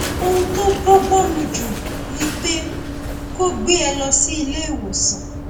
ohun tó bọgbọn mu jù ni pé kó o gbé e lọ sí ilé ìwòsàn